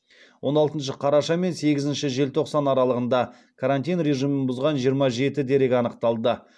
он алтыншы қараша мен сегізінші желтоқсан аралығында карантин режимін бұзған жиырма жеті дерек анықталды